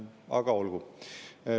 Aga olgu.